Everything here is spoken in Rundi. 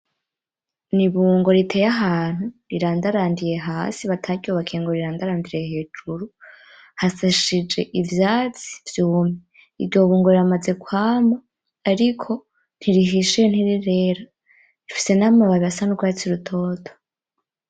N'ibungo riteye ahantu rirandarandiye hasi bataryubakiye ngo rirandarandire hejuru hasashije ivyatsi vyumye iryo bungo riramaze kwama ariko nti rihishiye ntirirera rifise n'amababi asa n'urwatsi rutoto.